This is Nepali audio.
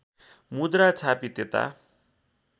मुद्रा छापी त्यता